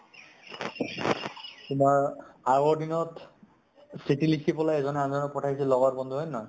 তোমাৰ আগৰ দিনত চিঠি লিখি পলাই এজনে আনজনক পঠাইছিল লগৰ বন্ধু হয় নে নহয়?